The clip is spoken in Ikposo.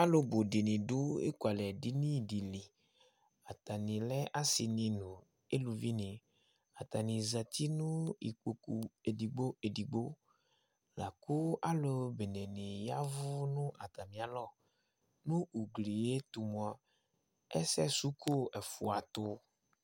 Alu bʋ dìní du ekʋalɛ dìní di li Atani lɛ asi ni nʋ aluvi ni Atani zɛti nʋ ikpoku ɛdigbo ɛdigbo Laku alu bene ni yavʋ nʋ atami alɔ Nʋ ugli ye tu mʋa ɛsɛsuko ɛfʋa tu